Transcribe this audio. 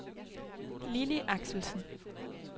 Lilli Axelsen